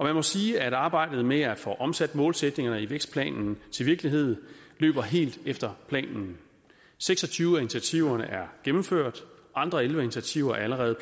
man må sige at arbejdet med at få omsat målsætningerne i vækstplanen til virkelighed løber helt efter planen seks og tyve af initiativerne er gennemført andre elleve initiativer er allerede